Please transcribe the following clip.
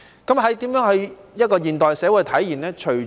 怎樣在現代社會體現這句說話呢？